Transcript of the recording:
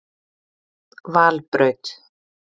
Valbraut